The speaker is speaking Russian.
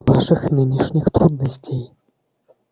ваших нынешних трудностей